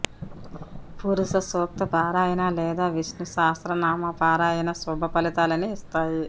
పురుష సూక్త పారాయణ లేదా విష్ణు సహస్ర నామ పారాయణ శుభ ఫలితాలని ఇస్తాయి